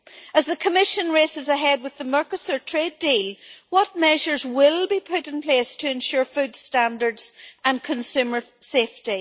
As the Commission races ahead with the Mercosur trade deal, what measures will be put in place to ensure food standards and consumer safety?